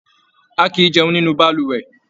A kìí jẹun nínú balùwẹ̀.